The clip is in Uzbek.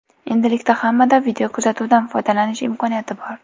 Endilikda hammada videokuzatuvdan foydalanish imkoniyati bor.